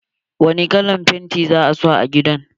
Wani kalan painti za a sa a gidan?